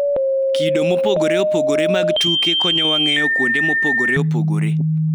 Kido mopogore opogore mag tuke konyowa ng�eyo kuonde mopogore opogore